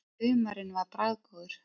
Humarinn var bragðgóður.